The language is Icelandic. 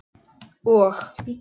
Og?